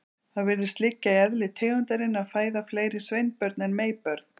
Það virðist liggja í eðli tegundarinnar að fæða fleiri sveinbörn en meybörn.